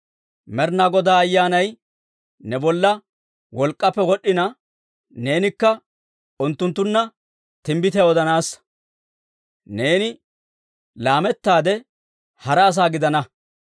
Med'inaa Godaa Ayyaanay ne bolla wolk'k'aappe wod'd'ina neenikka unttunttunna timbbitiyaa odanaassa; neeni laamettaade hara asaa gidana.